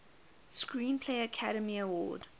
screenplay academy award